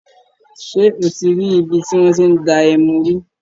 Ṣé o rí ibi tí wọ́n ti ń dá ẹmu rí?